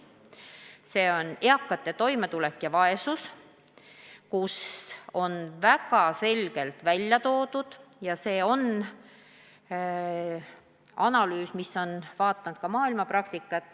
See on eakate toimetuleku ja vaesuse teemal ja selles on väga selgelt välja toodud analüüs, mille käigus on vaadatud ka maailmapraktikat.